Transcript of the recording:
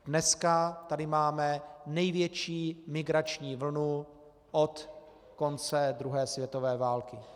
Dnes tady máme největší migrační vlnu od konce druhé světové války.